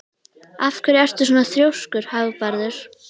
Af hverju ertu svona þrjóskur, Hagbarður?